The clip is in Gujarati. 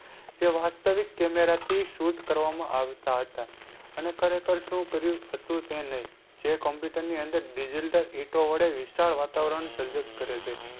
જે વાસ્તવિક કેમેરા થી શૂટ કરવામાં આવતા હતા અને ખરેખર શું કર્યું હતું તે નહીં જે Computer ની અંદર digital વડે વિશાળ વાતાવરણ સર્જક કરે છે.